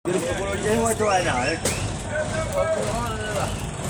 noona imbaa naanare niyiolou peyie kinteru huduma ang